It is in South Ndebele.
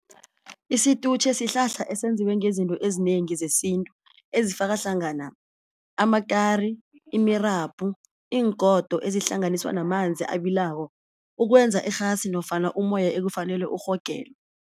Isitutjhe sihlahla esenziwe ngezinto ezinengi zesintu ezifaka hlangana amakari, imirabhu, iingodo ezihlanganiswa namanzi abilako ukwenza irhasi nofana umoya ekufanelwe urhogelwe.